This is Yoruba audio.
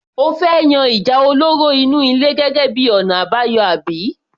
O fẹ́ yan ìjà olóró inú ilé gẹ́gẹ́ bíi ọ̀nà àbáyọ àbí?